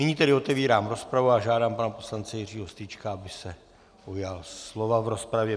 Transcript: Nyní tedy otvírám rozpravu a žádám pana poslance Jiřího Strýčka, aby se ujal slova v rozpravě.